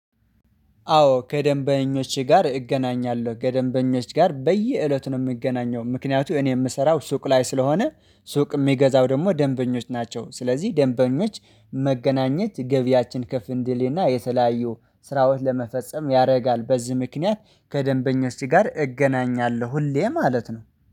አዎ ከደንበኞች ጋር እገናኛለሁ ከደንበኞች ጋር በየእለቱ ነው የምገናኘው ምክንያቱ እኔ የምሰራው ሱቅ ላይ ስለሆነ ሱቅ የሚገዛው ደግሞ ደንበኞች ናቸው። ስለዚህ ደንበኞች መገናኘት ገቢያችን ከፍ እንድሌና የተለያዩ ስራውን ለመፈጸም ያደርጋል። በዚህ ምክንያት ከደንበኞች ጋር እገናኛለሁ ሁሌ ማለት ነው።